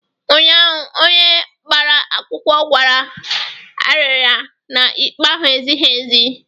Ụnyaahụ, onye gbara akwụkwọ kwara arịrị na ikpe ahụ ezighi ezi